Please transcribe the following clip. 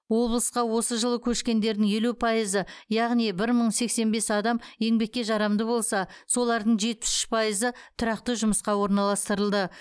облысқа осы жылы көшкендердің елу пайызы яғни бір мың сексен бес адам еңбекке жарамды болса солардың жетпіс үш пайызы тұрақты жұмысқа орналастырылды